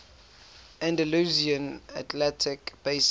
andalusian atlantic basin